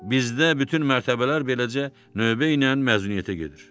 Bizdə bütün mərtəbələr beləcə növbə ilə məzuniyyətə gedir.